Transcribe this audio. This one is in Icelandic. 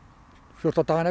fjórtán dagana